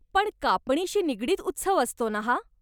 पण, कापणीशी निगडीत उत्सव असतो ना हा?